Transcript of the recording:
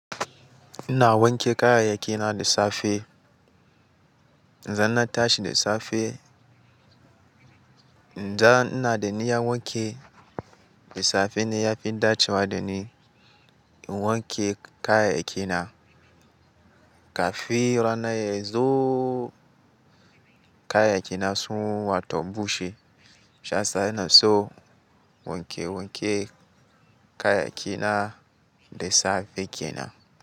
Ina wanke kayayyaki na da safe. Idan na tashi da safe, idan ina da niyya wanki, da safe ne ya fi dacewa da ni in wanke kayayyaki na. Kafin rana yazo kayayyaki na sun wato bushe. Saisa ina so wanke wanke kayayyaki na da safe kenan.